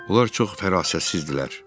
Onlar çox fərasətsizdirlər.